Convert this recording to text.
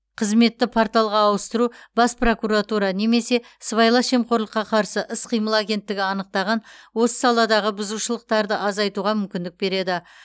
қызметті порталға ауыстыру бас прокуратура немесе сыбайлас жемқорлыққа қарсы іс қимыл агенттігі анықтаған осы саладағы бұзушылықтарды азайтуға мүмкіндік береді